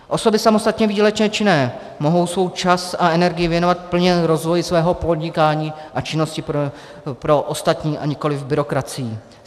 Osoby samostatně výdělečně činné mohou svůj čas a energii věnovat plně rozvoji svého podnikání a činnosti pro ostatní, a nikoliv byrokracii.